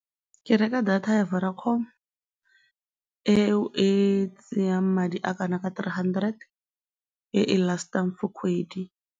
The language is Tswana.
Ke reka data ya Vodacom eo e tsayang madi a a kana ka three hundred, e e last-ang for kgwedi.